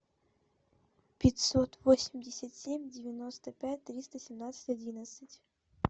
пятьсот восемьдесят семь девяносто пять триста семнадцать одиннадцать